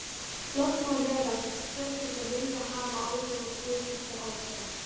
Loks má vera að forseti vilji hafa áhrif á pólitískar ákvarðanir.